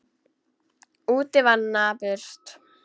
Úti var napurt.